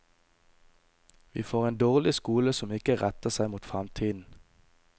Vi får en dårlig skole som ikke retter seg mot fremtiden.